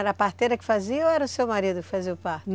Era a parteira que fazia ou era o seu marido que fazia o parto?